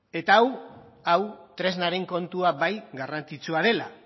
eta hau tresnaren kontua bai garrantzitsua dela